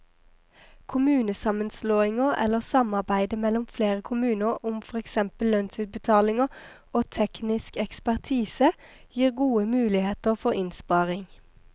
Kommunesammenslåinger eller samarbeide mellom flere kommuner om for eksempel lønnsutbetalinger og teknisk ekspertise gir gode muligheter for innsparing.